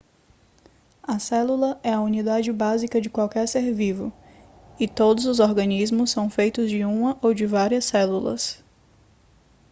a célula é a unidade básica de qualquer ser vivo e todos os organismos são feitos de uma ou de várias células